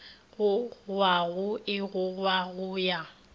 gogwago e gogwa go ya